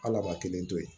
Ala ma kelen to yen